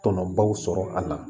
Tɔnɔbaw sɔrɔ a la